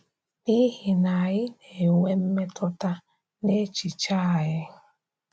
N’ihi na anyị na-enwe mmetụta n’echiche anyị.